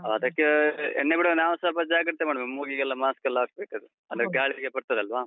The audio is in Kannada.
ಹಾ, ಅದಕ್ಕೇ ಎಣ್ಣೆ ಬಿಡುವಾಗ ನಾವೂ ಸ್ವಲ್ಪ ಜಾಗ್ರತೆ ಮಾಡ್ಬೇಕು. ಮೂಗಿಗೆಲ್ಲ mask ಲ್ಲ ಹಾಕ್ಬೇಕದು. ಹ, ಅಂದ್ರೆ ಗಾಳಿಗೆಲ್ಲ ಬರ್ತದಲ್ವಾ?